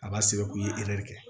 A b'a sɛbɛn k'u ye kɛ